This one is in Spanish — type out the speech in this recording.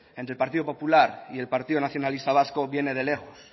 entre partido popular y el partido nacionalista vasco viene de lejos